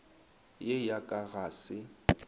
ye ya ka ga se